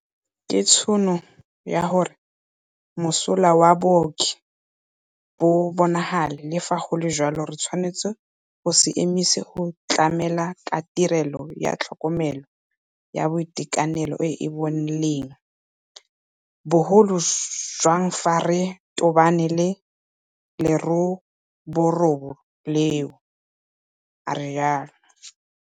Ke tšhono ya gore mosola wa baoki o bonagale, le fa go le jalo re tshwanetse go se emise go tlamela ka tirelo ya tlhokomelo ya boitekanelo e e boleng, bo golojang fa re tobane le leroborobo leno, a re jalo.